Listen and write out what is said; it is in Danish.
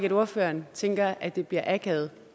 at ordføreren tænker at det bliver akavet